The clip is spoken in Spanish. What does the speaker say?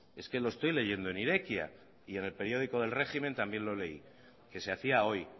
es que lo estoy leyendo en irekia y en el periódico del régimen también lo leí que se hacía hoy